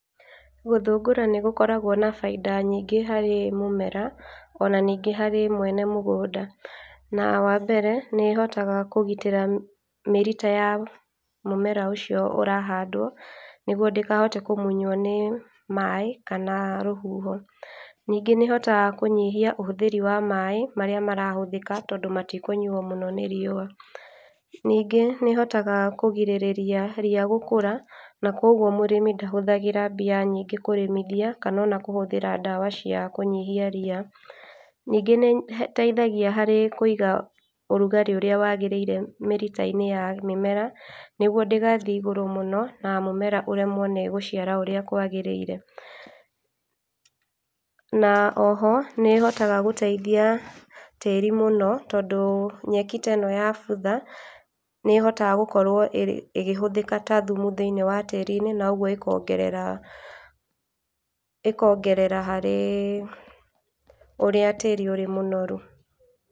Gũthũngũra nĩ gũkoragwo na bainda nyingĩ harĩ mũmera ona ningĩ hari mwene mũgũnda, na wa mbere nĩ ĩhotaga kũgitĩra mĩrita ya mũmera ũcio ũrahandwo nĩgũo ndĩkahote kũmunywo nĩ maĩ kana rũhuho. Ningĩ nĩ ĩhotaga kũnyihia ũhũthĩri wa maĩ marĩa marahũthĩka tondũ matikũnyuo mũno nĩ riũa. Ningĩ nĩ ĩhotaga kũgirĩrĩria ria gũkũra na kwa ũguo mũrĩmi ndahũthagira mbia nyingĩ kũrĩmithia kana ona kũhũthĩra ndawa cia kũnyihia ria. Ningĩ nĩ ĩteithagia harĩ kũiga ũrugarĩ ũrĩa wagĩrĩire mĩrita-inĩ ya mĩmera nĩgũo ndĩgathĩe igũrũ mũno na mũmera ũremwo nĩ gũciara ũrĩa kwagĩrĩire. Na oho nĩ ĩhotaga gũteithia tĩri mũno tondũ nyeki ta ĩno yabutha nĩĩhotaga gũkorwo ĩgĩhũthĩka ta thumu thĩĩnĩe wa tĩri-inĩ na ũguo ĩkongerera, ĩkongerera harĩ ũrĩa tĩri ũrĩ mũnoru.